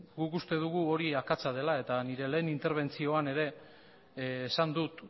guk uste dugu hori akatsa dela eta nire lehen interbentzioan ere esan dut